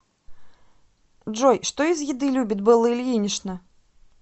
джой что из еды любит белла ильинична